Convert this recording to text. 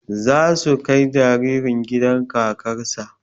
Za su kai jaririn gidan kakar sa